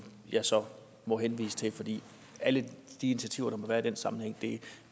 jeg så må henvise til fordi alle de initiativer der være i den sammenhæng